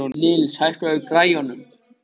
Nils, hækkaðu í græjunum.